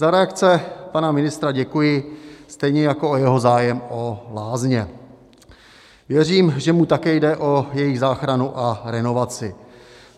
Za reakce pana ministra děkuji, stejně jako o jeho zájem o lázně, věřím, že mu také jde o jejich záchranu a inovaci.